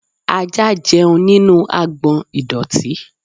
Ajá jẹun nínú agbọ̀n ìdọ̀tí.